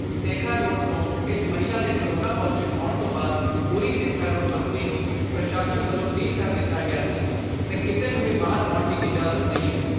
Sekha road ਤੋਂ ਇਸ ਮਹਿਲਾ ਦੇ ਕੋਰੋਨਾ ਪਾਜ਼ੇਟਿਵ ਆਉਣ ਤੋਂ ਬਾਅਦ ਪੂਰੀ ਸੇਖਾ ਰੋਡ ਬਸਤੀ ਨੂੰ ਪ੍ਰਸ਼ਾਸ਼ਨ ਵਲੋਂ ਸੀਲ ਕਰ ਦਿਤਾ ਗਿਆ ਸੀ ਤੇ ਕਿਸੇ ਨੂੰ ਵੀ ਬਾਹਰ ਆਉਣ ਦੀ ਇਜ਼ਾਜ਼ਤ ਨਹੀ ਐ।